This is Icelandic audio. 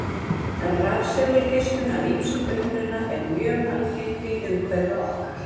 Rafsegulgeislun af ýmsum uppruna er mjög algeng í umhverfi okkar.